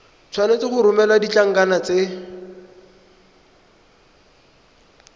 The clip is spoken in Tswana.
tshwanetse go romela ditlankana tse